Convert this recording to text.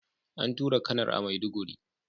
An tura Kanar a maiduguri